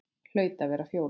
Hlaut að vera Fjóla.